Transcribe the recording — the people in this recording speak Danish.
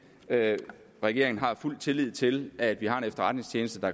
at regeringen har fuld tillid til at vi har en efterretningstjeneste der